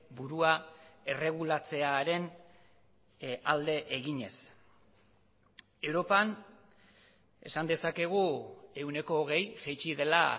burua erregulatzearen alde eginez europan esan dezakegu ehuneko hogei jaitsi dela